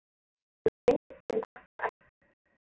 Þú segir þeim þetta ekki.